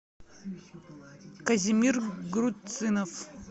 казимир груцинов